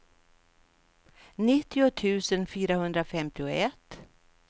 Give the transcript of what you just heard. nittio tusen fyrahundrafemtioett